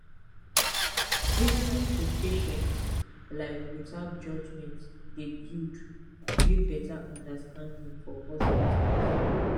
lis ten ing to patients like without judgement dey build build better understanding for hospitals